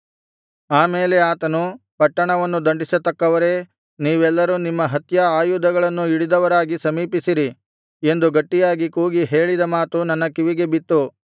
ಆಮೇಲೆ ಆತನು ಪಟ್ಟಣವನ್ನು ದಂಡಿಸತಕ್ಕವರೇ ನೀವೆಲ್ಲರೂ ನಿಮ್ಮ ಹತ್ಯಾ ಆಯುಧಗಳನ್ನು ಹಿಡಿದವರಾಗಿ ಸಮೀಪಿಸಿರಿ ಎಂದು ಗಟ್ಟಿಯಾಗಿ ಕೂಗಿ ಹೇಳಿದ ಮಾತು ನನ್ನ ಕಿವಿಗೆ ಬಿತ್ತು